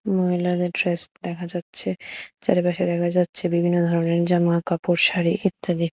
মহিলাদের ড্রেস দেখা যাচ্ছে চারিপাশে দেখা যাচ্ছে বিভিন্ন ধরনের জামাকাপড় শাড়ি ইত্যাদি।